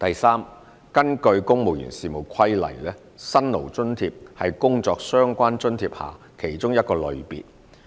三根據《公務員事務規例》，"辛勞津貼"是工作相關津貼下的其中一個類別。